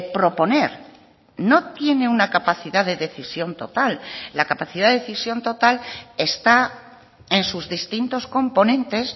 proponer no tiene una capacidad de decisión total la capacidad de decisión total está en sus distintos componentes